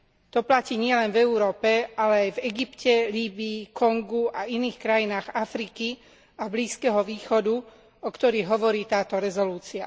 To platí nielen v Európe, ale aj v Egypte, Líbyi, Kongu a iných krajinách Afriky a Blízkeho východu, o ktorých hovorí táto rezolúcia.